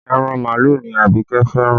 Ẹran màálù ni Abike fẹ́ràn